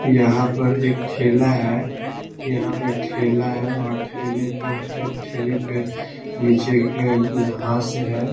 यहाँ पर एक ठेला है यहाँ पे एक ठेला हैऔर ठेला पे ठेला पे के नीचे घास ही है।